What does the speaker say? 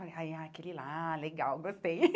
Falei, ah é aquele lá, legal, gostei.